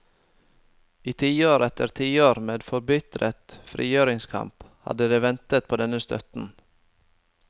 I tiår etter tiår med forbitret frigjøringskamp hadde de ventet på denne støtten.